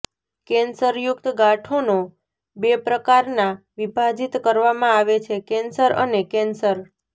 કેન્સરયુક્ત ગાંઠોનો બે પ્રકારના વિભાજિત કરવામાં આવે છેઃ કેન્સર અને કેન્સર